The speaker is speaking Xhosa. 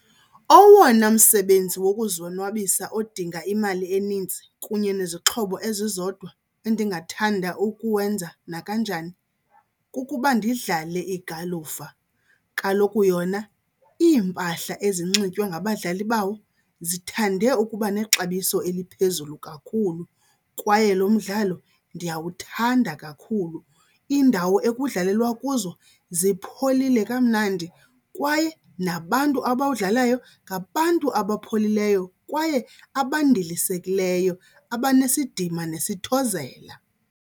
Owona msebenzi wokuzonwabisa odinga imali enintsi kunye nezixhobo ezizodwa endingathanda ukuwenza nakanjani kukuba ndidlale igalufa. Kaloku yona iimpahla ezinxitywa ngabadlali bawo zithande ukuba nexabiso eliphezulu kakhulu kwaye lo mdlalo ndiyawuthanda kakhulu. Iindawo ekudlalelwa kuzo zipholile kamnandi kwaye nabantu abawudlalayo ngabantu abapholileyo kwaye abandilisekileyo, abanesidima nesithozela.